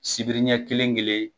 Sibiriɲɛ kelenkelen